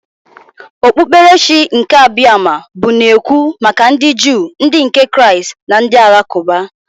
Okpukperechi nke Abiama bụ na-ekwu maka ndị Juu, ndị nke Kraịst na ndị Alakụba.